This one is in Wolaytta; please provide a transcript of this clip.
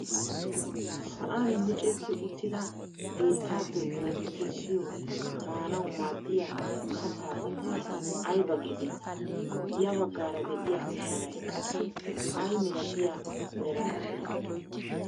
Sa'aan micetti uttida bittaappe bookki kessiyoo maanawu maaddiyaa kaattaa qomoy ayba getettii? ya baggaara de'iyaa sharay qassi ay milatiyaa meraara de'ii?